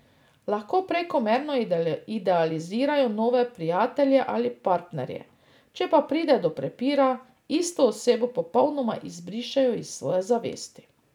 Lahko prekomerno idealizirajo nove prijatelje ali partnerje, če pa pride do prepira, isto osebo popolnoma izbrišejo iz svoje zavesti.